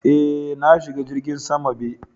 Eh, na shiga jirgin sama be.